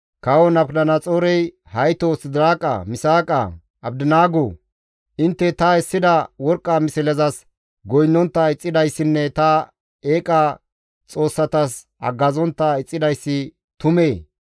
Kawo Nabukadanaxoorey, «Haytoo Sidiraaqa, Misaaqa, Abdinaago! Intte ta essida worqqa mislezas goynnontta ixxidayssinne ta eeqa xoossatas haggazontta ixxidayssi tumee?